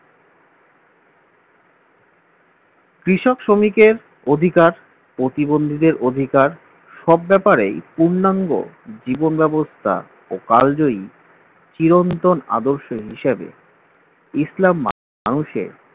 কৃষক শ্রমিকের অধিকার প্রতিবন্ধীদের অধিকার সব ব্যাপারেই পূর্ণাঙ্গ জীবন ব্যবস্থা ওকাল জয়ী চিরন্তন আদর্শ হিসেবে ইসলাম মানুষের